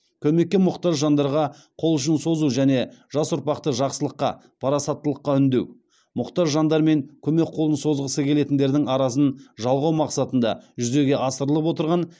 көмекке мұқтаж жандарға қол ұшын созу және жас ұрпақты жақсылыққа парасаттылыққа үндеу мұқтаж жандар мен көмек қолын созғысы келетіндердің арасын жалғау мақсатында жүзеге асырылып отырған